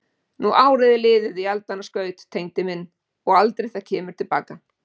Nú árið er liðið í aldanna skaut, Tengdi minn, og aldrei það kemur til baka.